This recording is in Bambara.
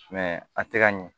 a tɛ ka ɲɛ